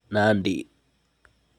Nandi